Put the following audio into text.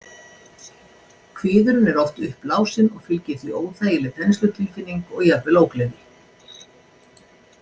Kviðurinn er oft uppblásinn og fylgir því óþægileg þenslutilfinning og jafnvel ógleði.